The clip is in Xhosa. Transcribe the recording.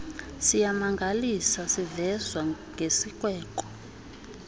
siyamangalisa sivezwa ngesikweko